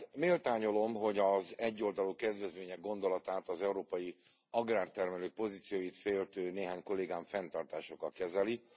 Méltányolom, hogy az egyoldalú kedvezmények gondolatát az európai agrártermelők pozícióit féltő néhány kollégám fenntartásokkal kezeli.